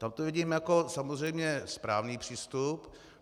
Tam to vidím jako samozřejmě správný přístup.